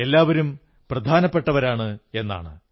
എല്ലാവരും പ്രധാനപ്പെട്ടവരാണ് എന്നാണ്